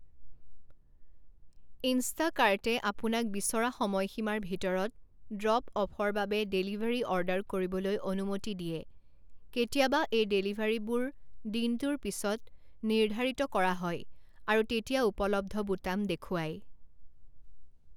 ইনষ্টাকাৰ্টে আপোনাক বিচৰা সময়সীমাৰ ভিতৰত ড্ৰপ অফৰ বাবে ডেলিভাৰী অৰ্ডাৰ কৰিবলৈ অনুমতি দিয়ে কেতিয়াবা এই ডেলিভাৰীবোৰ দিনটোৰ পিছত নিৰ্ধাৰিত কৰা হয় আৰু তেতিয়া উপলব্ধ বুটাম দেখুৱায়।